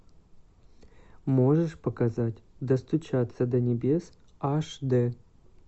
можешь показать достучаться до небес аш д